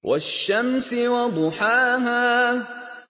وَالشَّمْسِ وَضُحَاهَا